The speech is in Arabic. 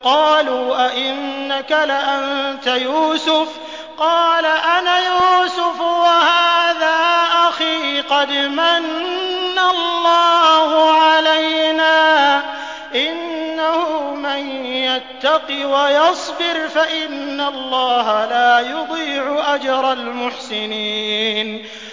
قَالُوا أَإِنَّكَ لَأَنتَ يُوسُفُ ۖ قَالَ أَنَا يُوسُفُ وَهَٰذَا أَخِي ۖ قَدْ مَنَّ اللَّهُ عَلَيْنَا ۖ إِنَّهُ مَن يَتَّقِ وَيَصْبِرْ فَإِنَّ اللَّهَ لَا يُضِيعُ أَجْرَ الْمُحْسِنِينَ